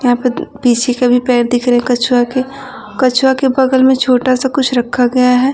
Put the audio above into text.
यहाँ पर पीछे के भी पैर दिख रहे हैं कछुआ के कछुआ के बगल में छोटा सा कुछ रखा गया है।